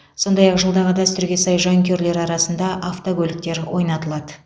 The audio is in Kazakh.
сондай ақ жылдағы дәстүрге сай жанкүйерлер арасында автокөліктер ойнатылады